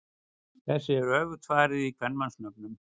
Þessu er öfugt farið í kvenmannsnöfnum.